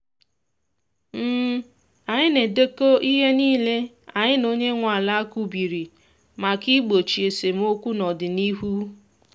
anyị ga edekọ ihe niile anyị na onye nwe ala kwubiri maka igbochi esemokwu n’ọdịnihu